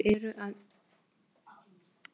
Þeir eru að minnka umhirðu.